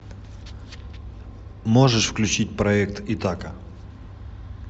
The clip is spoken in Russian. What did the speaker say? можешь включить проект итака